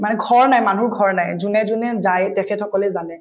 মানে ঘৰ নাই মানুহৰ ঘৰ নাই যোনে যোনে যায় তেখেত সকলে জানে